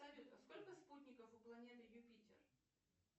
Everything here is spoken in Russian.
салют а сколько спутников у планеты юпитер